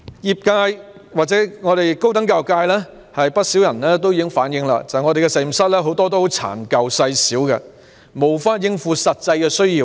不少高等教育界人士已經反映，很多實驗室殘舊細小，無法應付實際需要。